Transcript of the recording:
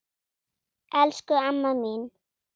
Elsku amma mín!